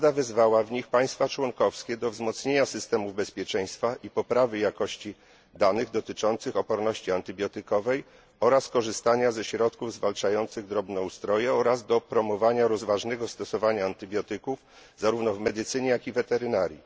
Rada wezwała w nich państwa członkowskie do wzmocnienia systemów bezpieczeństwa i poprawy jakości danych dotyczących oporności antybiotykowej oraz korzystania ze środków zwalczających drobnoustroje, oraz do promowania rozważnego stosowania antybiotyków zarówno w medycynie, jak i weterynarii.